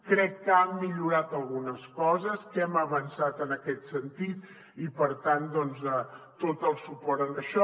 crec que han millorat algunes coses que hem avançat en aquest sentit i per tant tot el suport a això